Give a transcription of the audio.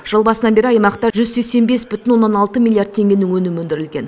жыл басынан бері аймақта жүз сексен бес бүтін оннан алты миллиард теңгенің өнімі өндірілген